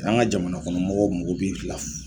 An ka jamanakɔnɔ mɔgɔw o mɔgɔ bɛ fila furu.